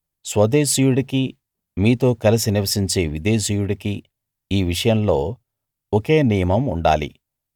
స్వదేశీయుడికీ మీతో కలసి నివసించే విదేశీయుడికీ ఈ విషయంలో ఒకే నియమం ఉండాలి